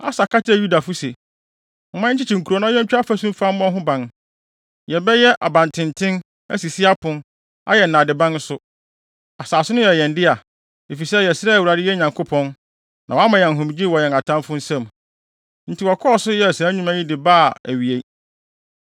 Asa ka kyerɛɛ Yudafo se, “Momma yɛnkyekye nkurow, na yentwa afasu mfa ho mfa mmɔ ho ban. Yɛbɛyɛ abantenten, asisi apon, ayɛ nnadeban nso. Asase no yɛ yɛn dea, efisɛ yɛsrɛɛ Awurade yɛn Nyankopɔn, na wama yɛn ahomegye wɔ yɛn atamfo nsam.” Enti wɔkɔɔ so yɛɛ saa nnwuma yi de baa awiei.